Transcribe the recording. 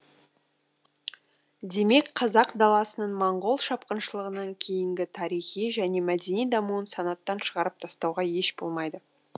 демек қазақ даласының маңғол шапқыншылығына кейінгі тарихи және мәдени дамуын санаттан шығарып тастауға еш болмайды